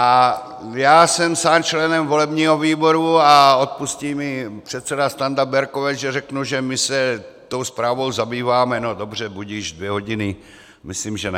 A já jsem sám členem volebního výboru, a odpustí mi předseda Standa Berkovec, že řeknu, že my se tou zprávou zabýváme no dobře, budiž, dvě hodiny, myslím, že ne.